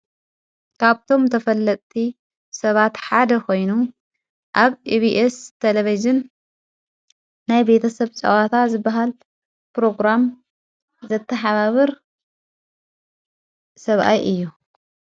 ካብቶም ተፈለቲ ሰባት ሓደ ኾይኑ ኣብ ኢብስ ተለቢዝን ናይ ቤተ ሰብ ጸዋታ ዝበሃል ጵሮግራም ዘተሓባብር ሰብኣይ እዩ።